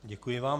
Děkuji vám.